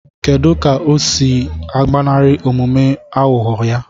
Kedu ka ọ na-esi agbanarị omume aghụghọ ya?